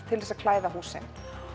til þess að klæða húsin